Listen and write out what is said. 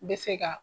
Bɛ se ka